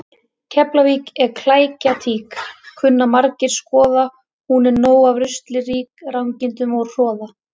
Keflavík er klækjatík kunna margir skoða hún er nóg af rusli rík rangindum og hroða.